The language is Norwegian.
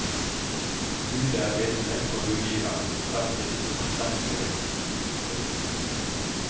Bud er bindende for budgiveren frem til akseptfristens utløp.